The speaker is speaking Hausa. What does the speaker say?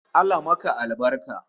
Allah maka albarka!